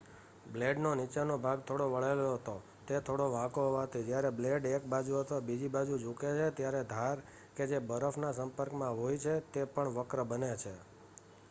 બ્લેડનો નીચેનો ભાગ થોડો વળેલો હતો તે થોડો વાંકો હોવાથી જયારે બ્લેડ એક બાજુ અથવા બીજી બાજુ ઝૂકે છે ત્યારે ધાર કે જે બરફના સંપર્કમાં હોય છે તે પણ વક્ર બને છે